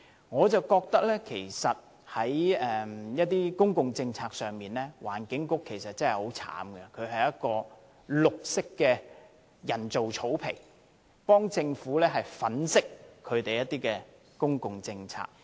我覺得在一些公共政策上，環境局其實真的很慘，它好像是一塊綠色的人造草皮，為政府粉飾公共政策。